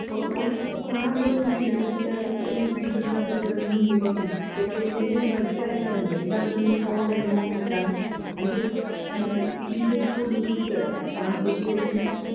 ഓ ഓന് ഹ് കാണുമ്പഴൊന്നിതില്ലതെന്താണ് എന്ത് പിരിശത്തിനപ്പുറഇപ്പുറയെല്ലാം മുണ്ടിക്കൊണ്ടാഞ്ഞി ചെക്കന്പെണ്ണിത് ബടക്കാര്ത്തറുതില്ലെയെല്ലാർക്കും ഈഫോണെല്ലൊനോക്കീട്ടാണ് അന്റ്യു എന്തിപ്പൂടീച്ചേഴ്സ്സ്കൂളിന്ന്ബിളിക്കുവല്ല ആഹ് കുടിച്ചെറിയേന്.